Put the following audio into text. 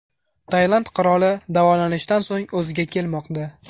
Tailand qiroli davolanishdan so‘ng o‘ziga kelmoqda .